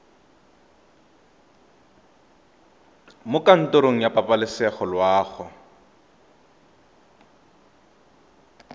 mo kantorong ya pabalesego loago